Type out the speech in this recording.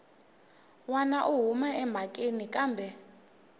wana u huma emhakeni kambe